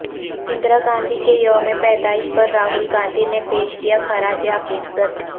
اندرا گاندھی کے یوم پیدائش پر راہل گاندھی نے پیش کیا خراج عقیدت